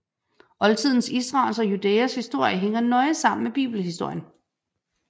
Oldtidens Israels og Judæas historie hænger nøje sammen med bibelhistorien